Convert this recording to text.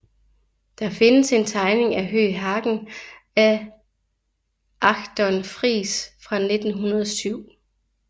Der findes en tegning af Høeg Hagen af Achton Friis fra 1907